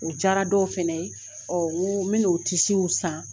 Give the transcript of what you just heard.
U diyara dɔw fana ye ɔ minnu o tisiw san